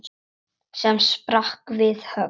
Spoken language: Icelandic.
sem sprakk við högg.